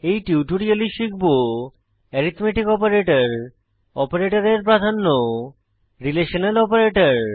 এই টিউটোরিয়ালে শিখব এরিথম্যাটিক অপারেটর অপারেটরের প্রাধান্য রিলেশনাল অপারেটর